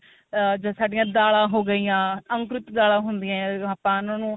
ah ਸਾਡੀਆ ਦਾਲਾਂ ਹੋ ਗਈਆ ਜਿਆਦਾ ਹੁੰਦਿਆ ਆਪਾਂ ਨੂੰ